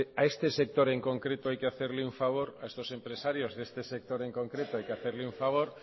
a este sector en concreto hay que hacerle un favor a estos empresarios de este sector en concreto hay que hacerle un favor